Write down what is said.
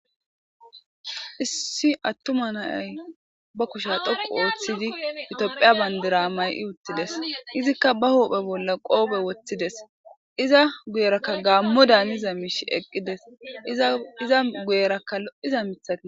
issi attuma nayay ba kusha dhoqu ooththidi itphiya bayndira may7i uttides izikka ba huphe bolla qoope woththides iza guyerakka gaammo daaniza miishi eqqides iza guyerakka lo7iza mithati